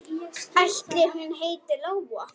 Ætli hún heiti Lóa?